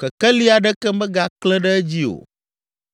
kekeli aɖeke megaklẽ ɖe edzi o.